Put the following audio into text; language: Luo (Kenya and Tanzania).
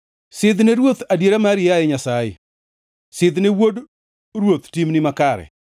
Sidh ne ruoth adiera mari, yaye Nyasaye, sidh ne wuod ruoth timni makare.